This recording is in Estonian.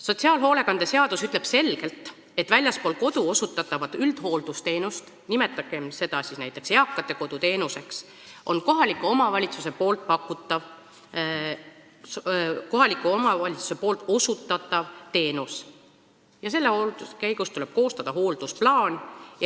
Sotsiaalhoolekande seadus ütleb selgelt, et väljaspool kodu osutatav üldhooldusteenus, nimetagem seda näiteks eakate kodu teenuseks, on kohaliku omavalitsuse osutatav teenus ja selle käigus tuleb koostada hooldusplaan.